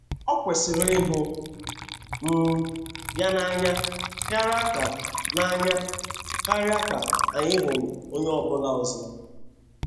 O kwesịrị ịhụ um ya n’anya karịa ka n’anya karịa ka anyị hụrụ onye ọ bụla ọzọ.